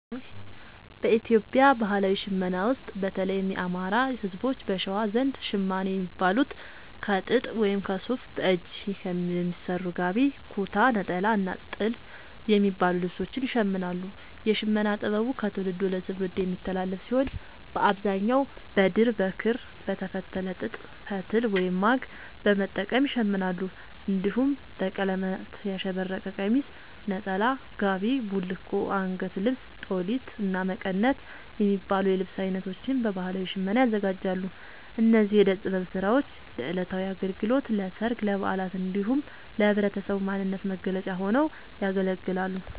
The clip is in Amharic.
በኢትዮጵያ ባህላዊ ሽመና ውስጥ፣ በተለይም የአማራ፣ ህዝቦች(በሸዋ) ዘንድ ‘ሸማኔ’ የሚባሉት ከጥጥ ወይም ከሱፍ በእጅ በሚሰሩ ‘ጋቢ’፣ ‘ኩታ’፣ ‘ኔጣላ’ እና ‘ቲልፍ’ የሚባሉ ልብሶችን ይሽምናሉ። የሽመና ጥበቡ ከትውልድ ወደ ትውልድ የሚተላለፍ ሲሆን፣ በአብዛኛው በድር፣ በክር፣ በተፈተለ ጥጥ ፈትል(ማግ) በመጠቀም ይሸምናሉ። እንዲሁም በቀለማት ያሸበረቀ ቀሚስ፣ ነጠላ፣ ጋቢ፣ ቡልኮ፣ አንገት ልብስ(ጦሊት)፣እና መቀነት የሚባሉ የልብስ አይነቶችን በባህላዊ ሽመና ያዘጋጃሉ። እነዚህ የእደ ጥበብ ስራዎች ለዕለታዊ አገልግሎት፣ ለሠርግ፣ ለበዓላት እንዲሁም ለህብረተሰቡ ማንነት መገለጫ ሆነው ያገለግላሉ።